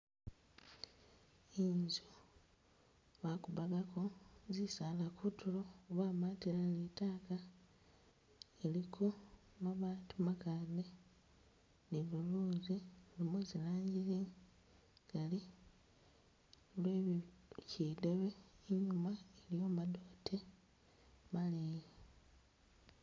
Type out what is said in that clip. Inzu bakupagako zisaala kutulo bamatila ne litaaka iliko mabaati makade ni luluzi lwe zilanji zingali lwe bi kidebe Inyuma iliyo madote maleyi.